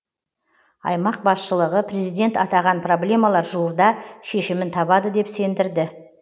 аймақ басшылығы президент атаған проблемалар жуырда шешімін табады деп сендірді